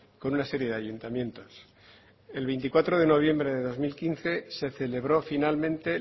con una serie de ayuntamientos el veinticuatro de noviembre de dos mil quince se celebró finalmente